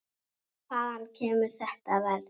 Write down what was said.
Hvaðan kemur þetta verð?